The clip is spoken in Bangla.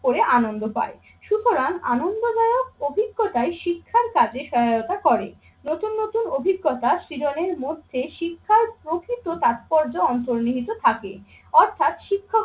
করে আনন্দ পায় সুতরাং আনন্দদায়ক অভিজ্ঞতায় শিক্ষার কাজে সহায়তা করে। নতুন নতুন অভিজ্ঞতা, শিরনের মধ্যে শিক্ষার প্রকৃত তাৎপর্য অন্তর্নিহিত থাকে অর্থাৎ শিক্ষা